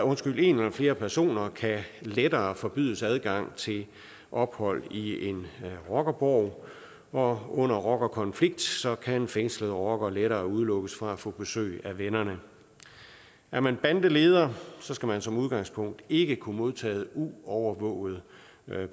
flere personer kan lettere forbydes adgang til ophold i en rockerborg og under rockerkonflikter kan fængslede rockere lettere udelukkes fra at få besøg af vennerne er man bandeleder skal man som udgangspunkt ikke kunne modtage uovervåget